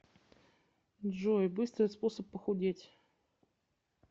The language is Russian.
джой быстрый способ похудеть